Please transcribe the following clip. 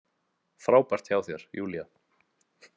Frábært hjá þér, Júlía!